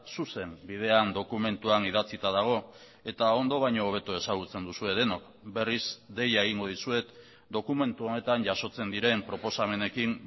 zuzen bidean dokumentuan idatzita dago eta ondo baino hobeto ezagutzen duzue denok berriz deia egingo dizuet dokumentu honetan jasotzen diren proposamenekin